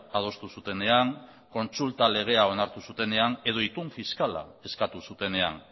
adostu zutenean kontsulta legea onartu zutenean edo itun fiskala eskatu zutenean